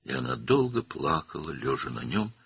və o, onun üstündə uzanmış halda uzun müddət ağladı.